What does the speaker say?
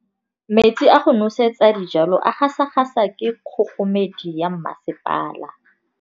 Metsi a go nosetsa dijalo a gasa gasa ke kgogomedi ya masepala.